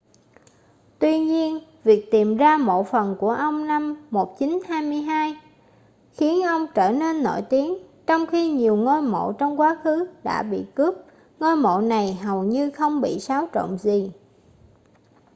tuy nhiên việc tìm ra mộ phần của ông năm 1922 khiến ông trở nên nổi tiếng trong khi nhiều ngôi mộ trong quá khứ đã bị cướp ngôi mộ này hầu như không bị xáo trộn gì